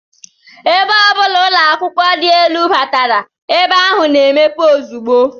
Ebe ọ bụla ụlọakwụkwọ dị elu batara, ebe ahụ na-emepe ozugbo